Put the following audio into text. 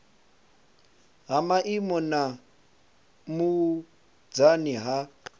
ha maimo na vhunzani ha